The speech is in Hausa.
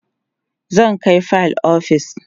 zan Kai fayil ofis